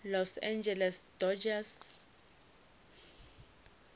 los angeles dodgers